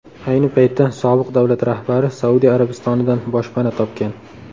Ayni paytda sobiq davlat rahbari Saudiya Arabistonidan boshpana topgan.